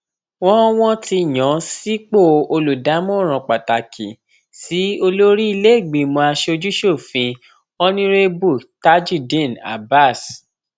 wọn wọn ti yàn án sípò olùdámọràn pàtàkì sí olórí ìlèégbìmọ asojúṣòfin onírèbù tajudeen abbas